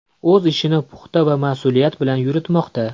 O‘z ishini puxta va mas’uliyat bilan yuritmoqda.